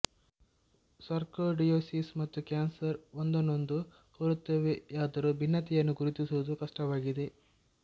sarcoidosis ಮತ್ತು cancer ಒಂದನ್ನೊಂದು ಹೋಲುತ್ತವೆಯಾದರೂ ಭಿನ್ನತೆಯನ್ನು ಗುರುತಿಸುವುದು ಕಷ್ಟವಾಗಿದೆ